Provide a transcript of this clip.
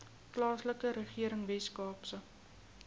plaaslike regering weskaapse